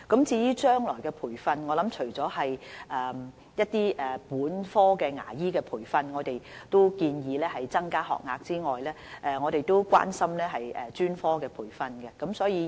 至於將來的培訓工作，政府除了建議本科牙醫培訓增加學額外，亦關心專科培訓的事宜。